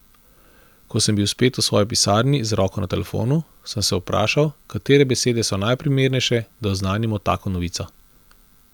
Ko sem bil spet v svoji pisarni z roko na telefonu, sem se vprašal, katere besede so najprimernejše, da oznanimo tako novico.